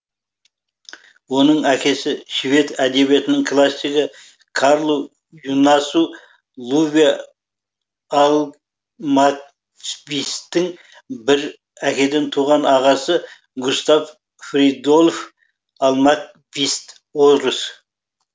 оның әкесі швед әдебиетінің классигі карлу юнасу луве альм квисттің бір әкеден туған ағасы густав фридольф альмквист орыс